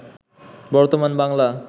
বর্তমান বাংলা